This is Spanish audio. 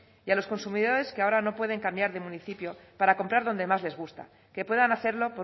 y a los consumidores que ahora no pueden cambiar de municipio para comprar donde más les gusta que puedan hacerlo